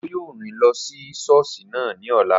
Òjó yóò rìn lọ sí sọ́ọ̀sì ní ọ̀la